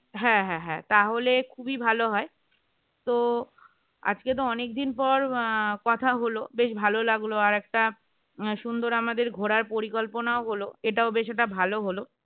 হ্যাঁ হ্যাঁ হ্যাঁ, তাহলে খুবই ভালো হয় তো আজকে তো অনেকদিন পর কথা আহ হলো বেশ ভালো লাগলো আর একটা সুন্দর আমাদের ঘোরার পরিকল্পনাও হল এটাও বেশ একটা ভালো হলো